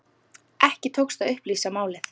Ekki tókst að upplýsa málið.